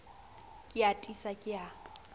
ke a tiisa ke a